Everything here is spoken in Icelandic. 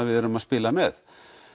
við erum að spila með